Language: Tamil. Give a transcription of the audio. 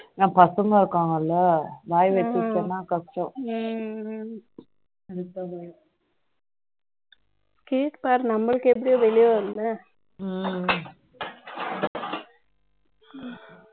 ஆனா பசங்க இருக்காங்க இல்ல வாய் வச்சுருச்சுன்னா கஷ்டம் கேட்பார் நம்மளுக்கு எப்படி வெளியே வரும் இல்ல